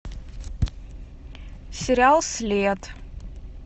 сериал след